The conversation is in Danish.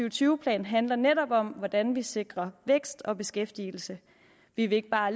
og tyve plan handler netop om hvordan vi sikrer vækst og beskæftigelse vi vil ikke bare